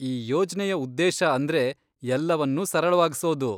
ಈ ಯೋಜ್ನೆಯ ಉದ್ದೇಶ ಅಂದ್ರೆ ಎಲ್ಲವನ್ನೂ ಸರಳವಾಗ್ಸೋದು.